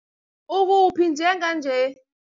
Ukuphi njenganje?